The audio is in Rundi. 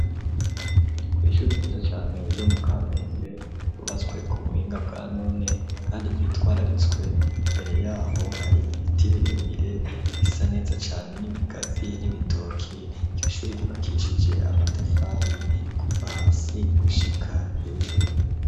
Kw'ishuri ryiza cane ryo mu Kamenge ryubatswe ku buhinga bwa none kandi ryitwararitswe ,imbere yaho hari ibiti birebire bisa neza cane n'ibigazi n'ibitoki ,iryo shuri ryubakishije amatafari kuva hasi gushika hejuru.